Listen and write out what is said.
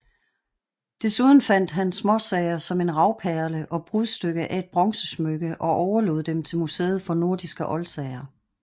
Desuden fandt han småsager som en ravperle og brudstykke af et bronzesmykke og overlod dem til Museet for nordiske oldsager